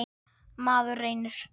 Maður reynir.